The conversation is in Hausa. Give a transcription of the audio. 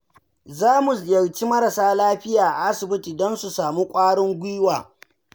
Za mu ziyarci marasa lafiya a asibiti don su samu ƙwarin gwiwa.